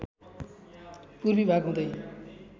पूर्वी भाग हुँदै